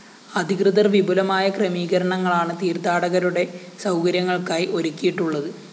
അധികൃതര്‍ വിപുലമായ ക്രമീകരണങ്ങളാണ് തീര്‍ത്ഥാടകരുടെ സൗകര്യങ്ങള്‍ക്കായി ഒരുക്കിയിട്ടുള്ളത്